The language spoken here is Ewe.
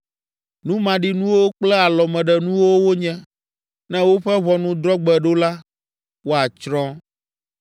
Nu maɖinuwo kple alɔmeɖenuwo wonye, ne woƒe ʋɔnudrɔ̃gbe ɖo la, woatsrɔ̃.